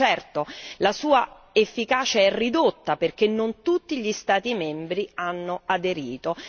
Certo, la sua efficacia è ridotta perché non tutti gli Stati membri hanno aderito.